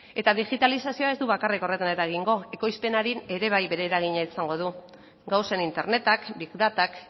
eta digitalizazioak ez du bakarrik horretan eragingo ekoizpenean ere bere eragina izango du gauzen internetak big datak